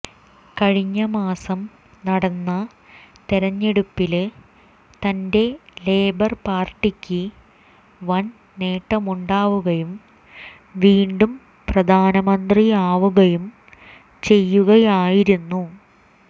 കഴിഞ്ഞ മാസം നടന്ന തെരഞ്ഞെടുപ്പില് തന്റെ ലേബര് പാര്ട്ടിക്ക് വന് നേട്ടമുണ്ടാവുകയും വീണ്ടും പ്രധാനമന്ത്രിയാവുകയും ചെയ്യുകയായിരുന്നു